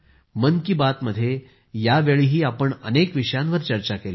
मन की बातमध्ये यावेळीही आपण अनेक विषयांवर चर्चा केली